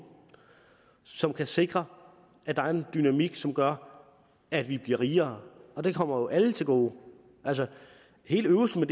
som kan sikre at der er en dynamik som gør at vi bliver rigere og det kommer jo alle til gode altså hele øvelsen